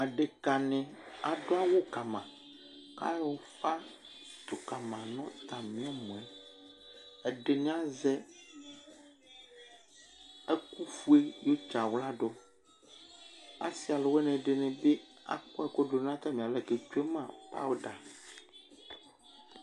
Aɖeka nɩ adʊ awu kama ku ayɔ ʊfa dʊkama nu atami ɛmɔɛ Ɛɖɩnɩ azɛ ɛkʊ fʊe Asiwanɩ ɛɖɩnɩ bi akɔ ɛku ɖu ŋu atami alɛ kʋ ɛtsʋema powder